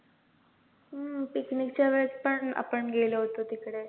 हम्म picnic च्या वेळेत पण आपण गेलो होतो तिकडे